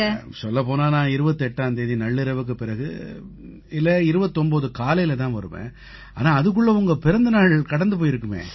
சொல்லப்போனா நான் 28ஆம் தேதி நள்ளிரவுக்குப் பிறகு இல்லை 29 காலையில தான் வருவேன் ஆனா அதுக்குள்ள உங்க பிறந்த நாள் கடந்து போயிருக்குமே